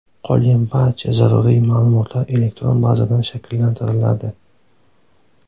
Qolgan barcha zaruriy ma’lumotlar elektron bazadan shakllantiriladi.